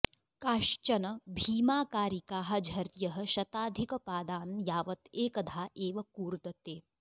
काश्चन भीमाकारिकाः झर्यः शताधिकपादान् यावत् एकधा एव कूर्दते